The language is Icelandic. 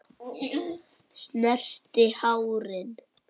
Snerti hárin.